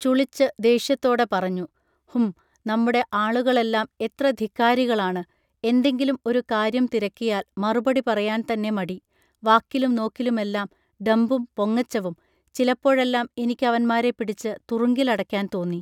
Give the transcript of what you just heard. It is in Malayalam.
ചുളിച്ച് ദേഷ്യത്തോടെ പറഞ്ഞു ഹും നമ്മുടെ ആളുകളെല്ലം എത്ര ധിക്കാരികളാണ് എന്തെങ്കിലും ഒരു കാര്യം തിരക്കിയാൽ മറുപടി പറയാൻ തന്നെ മടി വാക്കിലും നോക്കിലുമെല്ലം ഡംഭും പൊങ്ങച്ചവും ചിലപ്പോഴെല്ലം എനിക്കവന്മാരെ പിടിച്ച് തുറുങ്കിലടയ്ക്കാൻ തോന്നി